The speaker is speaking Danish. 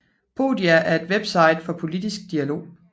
Podia er et website for politisk dialog